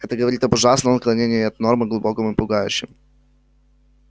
это говорит об ужасном отклонении от нормы глубоком и пугающем